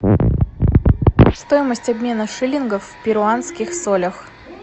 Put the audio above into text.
стоимость обмена шиллингов в перуанских солях